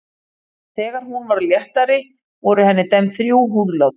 Þegar hún varð léttari voru henni dæmd þrjú húðlát.